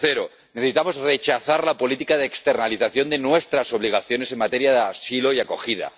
Tercero necesitamos rechazar la política de externalización de nuestras obligaciones en materia de asilo y acogida